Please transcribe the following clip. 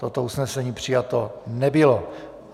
Toto usnesení přijato nebylo.